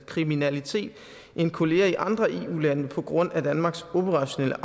kriminalitet end kollegaer i andre eu lande på grund af danmarks operationelle